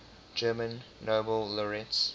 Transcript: german nobel laureates